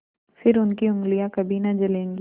फिर उनकी उँगलियाँ कभी न जलेंगी